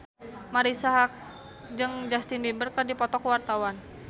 Marisa Haque jeung Justin Beiber keur dipoto ku wartawan